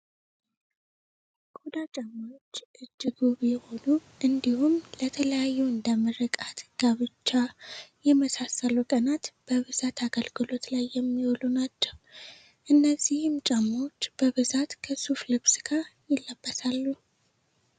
ቆዳ ጫማዎች እጅግ ውብ የሆኑ እንዲሁም ለተለያዩ እንደ ምርቃት ፣ጋብቻ ፣የመሳሰሉ ቀናት በብዛት አገልግሎት ላይ የሚውሉ ናቸው። እነዚህም ጫማወች በብዛት ከሱፍ ልብስ ጋር ይለብሳሉ።